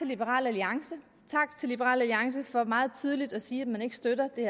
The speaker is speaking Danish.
liberal alliance tak til liberal alliance for meget tydeligt at sige at man ikke støtter det